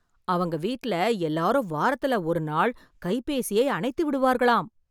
அவங்க வீட்ல எல்லாரும்வாரத்துல ஒரு நாள் கைபேசியை அணைத்து விடுவார்களாம்